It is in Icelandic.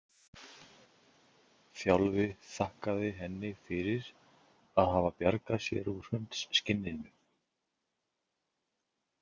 Þjálfi þakkaði henni fyrir að hafa bjargað sér úr hundsskinninu.